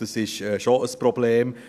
Es ist ja schon ein Problem.